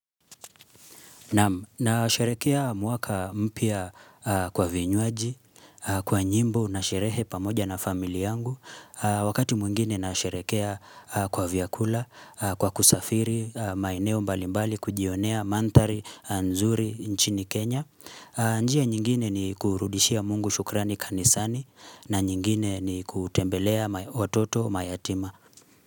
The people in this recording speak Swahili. Nasherehekea mwaka mpya kwa vinywaji, kwa nyimbo na sherehe pamoja na familia yangu. Wakati mwingine nasherehekea kwa vyakula, kwa kusafiri, maeneo mbalimbali, kujionea mandhari, nzuri, nchini Kenya. Njia nyingine ni kurudishia mungu shukrani kanisani na nyingine ni kutembelea watoto mayatima.